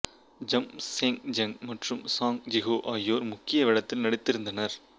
I'm சேங்ஜங் மற்றும் சாங் ஜிஹோ ஆகியோர் முக்கிய வேடத்தில் நடித்திருந்தனர்